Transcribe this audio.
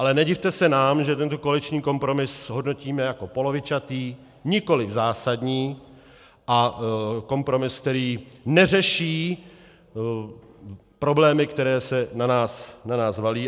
Ale nedivte se nám, že tento koaliční kompromis hodnotíme jako polovičatý, nikoliv zásadní, a kompromis, který neřeší problémy, které se na nás valí.